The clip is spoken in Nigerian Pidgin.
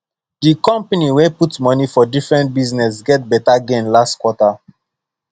the company wey put money for different business get better gain last quarter